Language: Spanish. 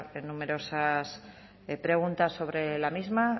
numerosas preguntas sobre la misma